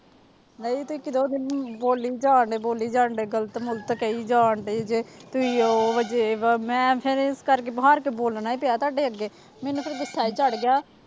ਨਹੀਂ ਤੁਸੀਂ ਕਦੋਂ ਦੇ ਬੋਲੀ ਜਾਣਡੇ ਬੋਲੀ ਜਾਣਡੇ ਗ਼ਲਤ ਮੁਲਤ ਕਹੀ ਜਾਣਡੇ ਸੀ ਜੇ ਤੁਸੀਂ ਉਹ ਵਜੇ ਮੈਂ ਫਿਰ ਇਸ ਕਰਕੇ ਹਾਰ ਕੇ ਬੋਲਣਾ ਹੀ ਪਿਆ ਤੁਹਾਡੇ, ਅੱਗੇ ਮੈਨੂੰ ਫਿਰ ਗੁੱਸਾ ਚੜ੍ਹ ਗਿਆ,